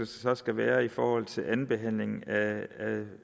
så skal være i forhold til andenbehandlingen af